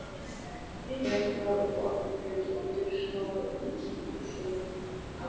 Flétturnar og barmurinn undir snakahvítri blússunni.